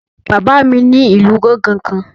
Bàbá mi ní ìlù gángan kan